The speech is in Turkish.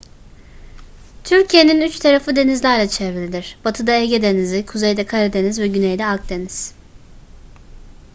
türkiye'nin üç tarafı denizlerle çevrilidir batıda ege denizi kuzeyde karadeniz ve güneyde akdeniz